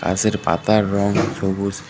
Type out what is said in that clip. গাছের পাতার রং সবুজ।